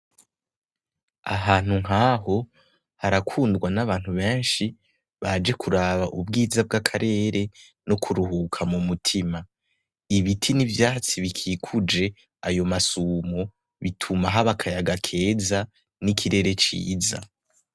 Ahantu nkaho harakundwa n'abantu beshi baje kuraba ubwiza bw'akarere no kuruhuka mumutima, Ibiti n'ivyatsi bikikuje ayo masumo bituma haba akayaga keza n'ikirere ciza.